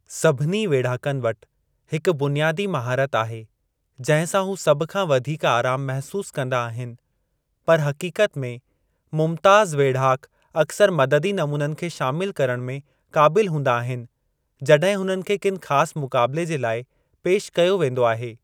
सभिनी वेढ़ाकुनि वटि हिकु बुनियादी महारत आहे जंहिं सां हू सभ खां वधीक आराम महसूस कंदा आहिनि, पर हक़ीक़त में मुमताज़ु वेढ़ाकु अक्सर मददी नमूननि खे शामिलु करण में क़ाबिलु हूंदा आहिनि, जड॒हिं हुननि खे किनि ख़ासु मुक़ाबले जे लाइ पेशि कयो वेंदो आहे।